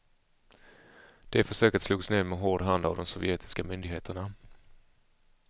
Det försöket slogs ned med hård hand av de sovjetiska myndigheterna.